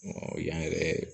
yan yɛrɛ